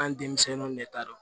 An ye denmisɛnninw de ta dɔn